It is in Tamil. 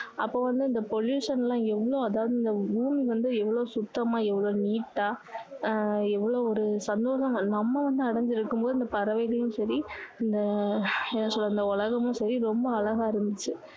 அப்போ வந்து இந்த pollution லாம் எவ்வளோ அதாவது இந்த ஊர் வந்து எவ்வளோ சுத்தமா எவ்வளோ neat ஆ ஆஹ் எவ்வளோ ஒரு நம்ம வந்து அடைஞ்சு இருக்கும் போது இந்த பறவைகளும் சரி இந்த என்ன சொல்லுறது இந்த உலகமும் சரி ரொம்ப அழகா இருந்துச்சு